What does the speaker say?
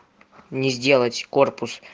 не сделать корпус